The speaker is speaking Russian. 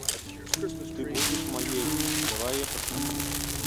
ты будешь моей давай я посмотрю